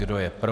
Kdo je pro?